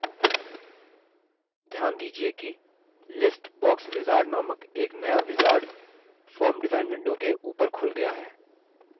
ध्यान दीजिये कि list box wizard नामक एक नया wizard form design window के ऊपर खुल गया है